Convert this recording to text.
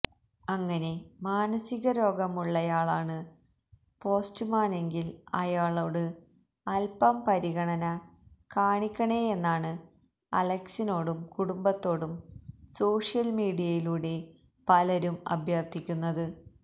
അങ്ങനെ മാനസികരോഗമുള്ളയാളാണ് പോസ്റ്റുമാനെങ്കില് അയാളോട് അല്പം പരിഗണന കാണിക്കണേയെന്നാണ് അലക്സിനോടും കുടുംബത്തോടും സോഷ്യല് മീഡിയയിലൂടെ പലരും അഭ്യര്ത്ഥിക്കുന്നത്